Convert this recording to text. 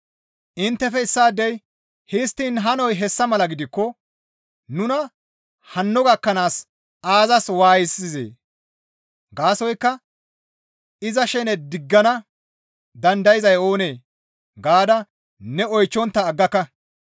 Inttefe issaadey, «Histtiin hanoy hessa mala gidikko nuna hanno gakkanaas aazas waayisizee? Gaasoykka iza shene diggana dandayzay oonee?» gaada ne oychchontta aggaka.